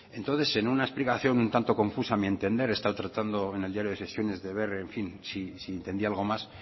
entonces en una explicación un tanto confusa a mi entender he estado tratando en el diario de sesiones de ver en fin si entendía algo más